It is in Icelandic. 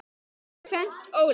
Þetta er tvennt ólíkt.